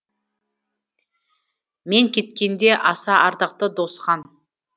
мен кеткенде аса ардақты досхан